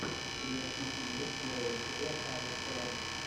у тебя в списке есть первая серия алистера